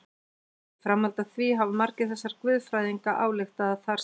Í framhaldi af því hafa margir þessara guðfræðinga ályktað að þar sem